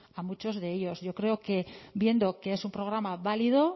a muchos de ellos yo creo que viendo que es un programa válido